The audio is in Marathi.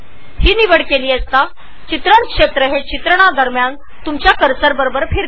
जर हा पर्याय निवडला तर रेकॉर्डिंग करताना बाण जेथे जेथे जाईल तेथे तेथे कॅप्चर रिजन जाईल